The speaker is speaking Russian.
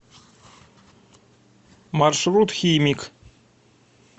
маршрут химик